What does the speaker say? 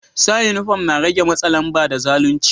Sa uniform na rege matsa lamba da zalunci.